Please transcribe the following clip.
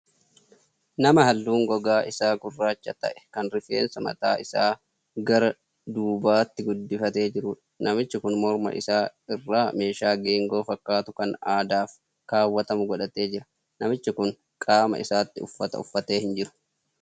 Nama halluun gogaa isaa gurraacha ta'ee kan rifeensa mataa isaa gara duubatti guddifatee jiruudha. Namichi kun morma isaa irraa meeshaa geengoo fakkaatu kan aadaaf kaawwatamu godhatee jira. Namichi kun qaama isaatti uffata uffachaa hin jiru.